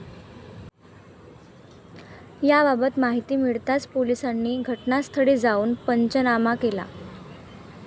याबाबत माहिती मिळताच पोलिसांनी घटनास्थळी जाऊन पंचनामा केला.